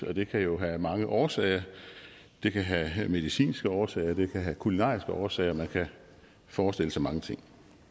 det kan jo have mange årsager det kan have have medicinske årsager og det kan have kulinariske årsager og man kan forestille sig mange ting